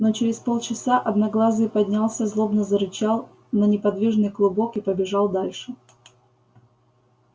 но через полчаса одноглазый поднялся злобно зарычал на неподвижный клубок и побежал дальше